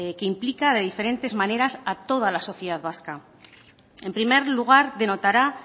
que implica de diferentes maneras a toda la sociedad vasca en primer lugar denotará